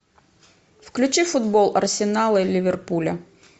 включи футбол арсенала и ливерпуля